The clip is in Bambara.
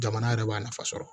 Jamana yɛrɛ b'a nafa sɔrɔ